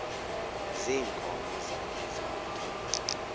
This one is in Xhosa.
ziinkomo zakhe zonke